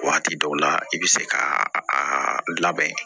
Waati dɔw la i bɛ se ka a labɛn